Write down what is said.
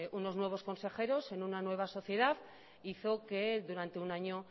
unos nuevos consejeros en una nueva sociedad hizo que durante un año